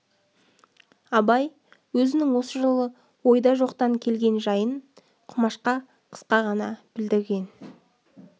абай өзінің осы жолы ойда жоқтан келген жайын құмашқа қысқа ғана білдірген